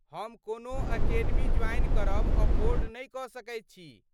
हम कोनो academy join करब अफोर्ड नहि कऽ सकैत छी।